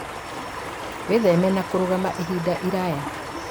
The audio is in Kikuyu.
wĩtheme na kũrũgama ihinda iraya